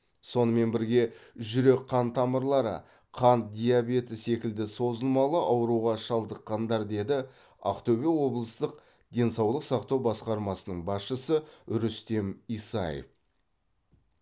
сонымен бірге жүрек қан тамырлары қант диабеті секілді созылмалы ауруға шалдыққандар деді ақтөбе облыстық денсаулық сақтау басқармасының басшысы рүстем исаев